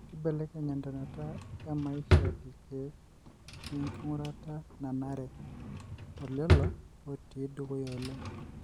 Kibelekeny entonata emaisha ilkek we ngurata nanare tolelo otii dukuya oleng.